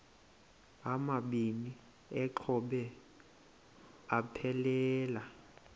amabini exhobe aphelela